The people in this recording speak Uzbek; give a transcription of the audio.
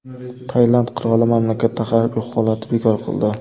Tailand qiroli mamlakatda harbiy holatni bekor qildi.